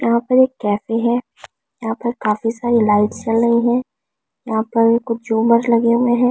यहां पर एक कैफे है यहां पर काफी सारी लाइट्स चल रही है यहां पर कुछ झूमर लगे हुए हैं।